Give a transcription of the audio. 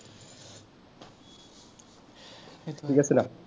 ঠিক আছে না?